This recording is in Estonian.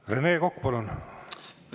Rene Kokk, palun!